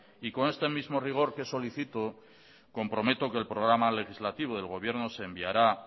y con este mismo rigor que solicito comprometo que el programa legislativo del gobierno os enviará